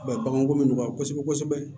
baganko bɛ nɔgɔya kosɛbɛ kosɛbɛ